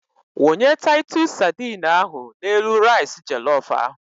Wunye taitus sadine ahụ n'elu rais jelof ahụ.